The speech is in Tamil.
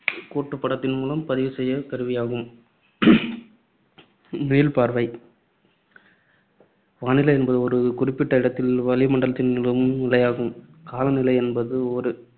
கோட்டுப்படத்தின் மூலம் பதிவு செய்யும் கருவியாகும். மீள்பார்வை வானிலை என்பது ஒரு குறிப்பிட்ட இடத்தில் வளிமண்டலத்தில் நிலவும் நிலையாகும். காலநிலை என்பது ஒரு